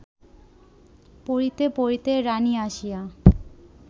পড়িতে-পড়িতে রাণী আসিয়া